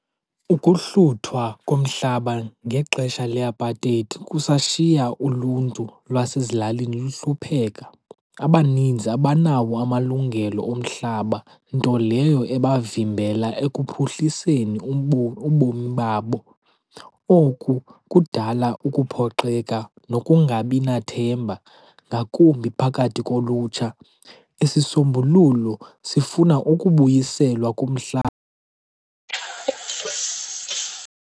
Ukuhluthwa komhlaba ngexesha leApartheid kusashiya uluntu lwasezilalini luhlupheka. Abaninzi abanawo amalungelo omhlaba, nto leyo ebavimbela ekuphuhliseni ubomi babo. Oku kudala ukuphoxeka nokungabi nathemba ngakumbi phakathi kolutsha. Isisombululo sifuna ukubuyiselwa kumhlaba.